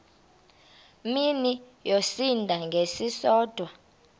mini yosinda ngesisodwa